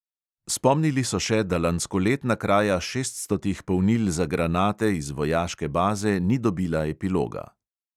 Spomnili so še, da lanskoletna kraja šeststotih polnil za granate iz vojaške baze ni dobila epiloga.